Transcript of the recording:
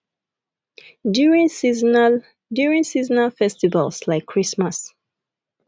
during seasonal during seasonal festivals like christmas